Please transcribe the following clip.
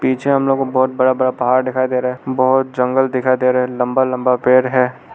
पीछे हम लोग को बहोत बड़ा बड़ा पहाड़ डिखाई दे रहा बहोत जंगल दिखाई दे रहा है लंबा लंबा पेड़ है।